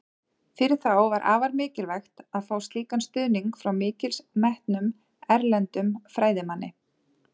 Fyrir þá var afar mikilvægt að fá slíkan stuðning frá mikils metnum, erlendum fræðimanni.